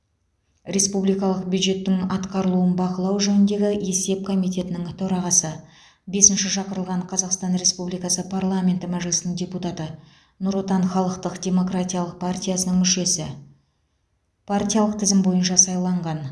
республикалық бюджеттің атқарылуын бақылау жөніндегі есеп комитетінің төрағасы бесінші шақырылған қазақстан республикасы парламенті мәжілісінің депутаты нұр отан халықтық демократиялық партиясының мүшесі партиялық тізім бойынша сайланған